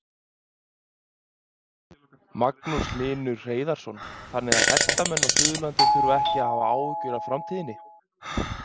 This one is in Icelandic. Magnús Hlynur Hreiðarsson: Þannig að hestamenn á Suðurlandi þurfa ekki að hafa áhyggjur af framtíðinni?